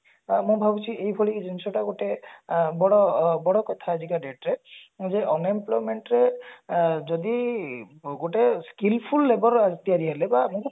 ତ ମୁଁ ଭାବୁଛି ଏଇଭଳି ଜିନିଷ ଟା ଗୋଟେ ଅ ବଡ କଥା ବଡ କଥା ଆଜିକା date ରେ ଏବେ unemployment ର ଅ ଯଦି ଗୋଟେ skillful labor ତିଆରି ହେଲେ ବା